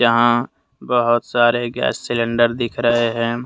हां बहोत सारे गैस सिलेंडर दिख रहे हैं।